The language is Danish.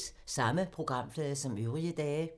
Samme programflade som øvrige dage